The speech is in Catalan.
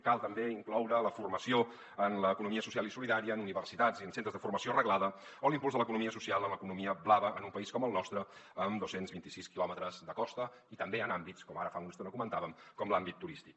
cal també incloure la formació en l’economia social i solidària en universitats i en centres de formació reglada o l’impuls de l’economia social en l’economia blava en un país com el nostre amb dos cents i vint sis quilòmetres de costa i també en àmbits com ara fa una estona comentàvem com l’àmbit turístic